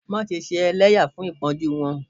Maṣe ṣe ẹlẹya fun ipọnju wọn!